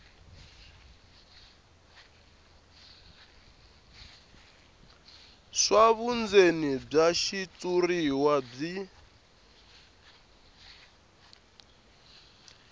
swa vundzeni bya xitshuriwa byi